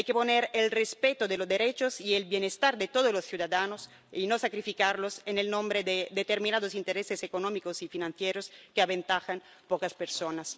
Hay que anteponer el respeto de los derechos y el bienestar de todos los ciudadanos y no sacrificarlos en nombre de determinados intereses económicos y financieros que benefician a pocas personas.